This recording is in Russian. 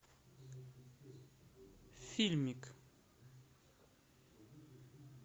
фильмик